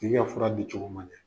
Tigi ka fura di cogo ma ɲɛ.